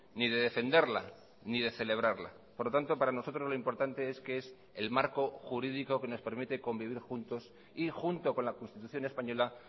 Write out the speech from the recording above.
ni de defenderla ni de celebrarla por lo tanto para nosotros lo importante es que es el marco jurídico que nos permite convivir juntos y junto con la constitución española